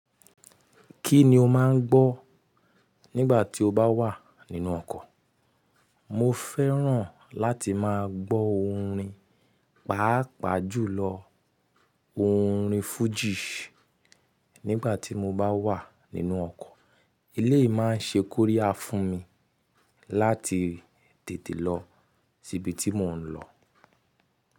Kí ni o má ń gbọ́ nígbà tí o bá wà nínú ọkọ̀? Mo fẹ́ràn láti máa gbọ́ orin, pàápàá jùlọ orin Fuji nígbà tí mo bá wà nínú ọkọ̀. Elé yìí má ń ṣe kórí ya fún mi láti tètè lọ sí ibi tí mò ń lọ.